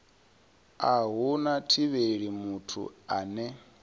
a hu thivheli muthu ane